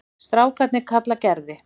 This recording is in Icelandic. Strákarnir kalla Gerði